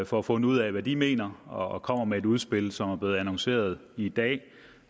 får fundet ud af hvad de mener og kommer med et udspil som det er blevet annonceret i dag